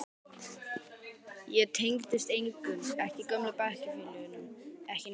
Ég tengdist engum, ekki gömlu bekkjarfélögunum, ekki neinum.